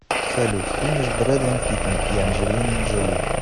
салют финиш брэдэн питен и анджелины джоли